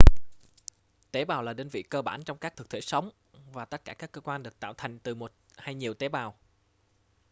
tế bào là đơn vị cơ bản trong các thực thể sống và tất cả các cơ quan được tạo thành từ một hay nhiều tế bào